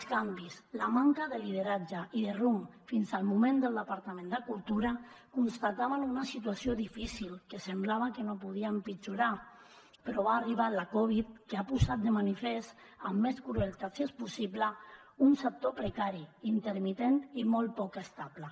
els canvis la manca de lideratge i de rumb fins al moment del departament de cultura constataven en una situació difícil que semblava que no podia empitjorar però ha arribat la covid que ha posat de manifest amb més crueltat si és possible un sector precari intermitent i molt poc estable